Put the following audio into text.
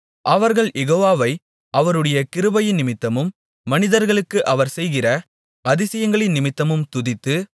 அவர்கள் யெகோவாவை அவருடைய கிருபையினிமித்தமும் மனிதர்களுக்கு அவர் செய்கிற அதிசயங்களினிமித்தமும் துதித்து